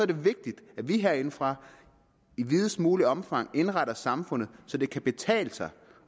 det vigtigt at vi herindefra i videst muligt omfang indretter samfundet så det kan betale sig